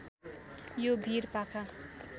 यो भिर पाखा